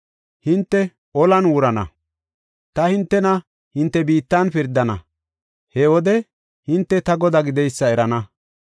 Hinte olan wurana; ta hintena hinte biittan pirdana. He wode hinte ta Godaa gideysa erana.